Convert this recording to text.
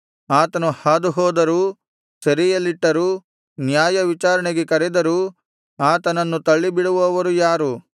ಆತನು ಹಾದುಹೋದರೂ ಸೆರೆಯಲ್ಲಿಟ್ಟರೂ ನ್ಯಾಯವಿಚಾರಣೆಗೆ ಕರೆದರೂ ಆತನನ್ನು ತಳ್ಳಿಬಿಡುವವರು ಯಾರು